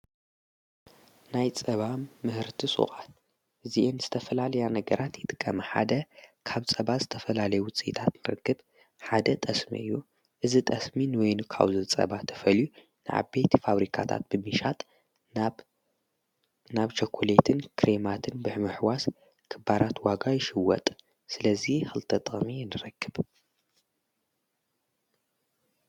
ናይ ጸባም ምህርቲ ሶቓት እዚእ ን ስተፈላልያ ነገራት ይጥቀመ ሓደ ኻብ ጸባ ዝተፈላሌዊፂእጣት ምርግብ ሓደ ጠስሜዩ እዝ ጠስምን ወይኑ ካዘ ጸባ ተፈልዩ ንዓ ቤቲ ፋብሪካታት ብሚሻጥ ናብ ጨኮሌትን ክሬማትን ብሕምኣሕዋስ ኽባራት ዋጋ ይሽወጥ ስለዙ ኽልተጠሜ የንረክብ።